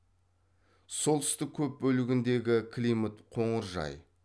солтүстік көп бөлігіндегі климат қоңыржай